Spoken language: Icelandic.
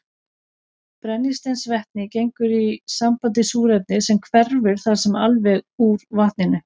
Brennisteinsvetnið gengur í samband við súrefnið sem hverfur þar með alveg úr vatninu.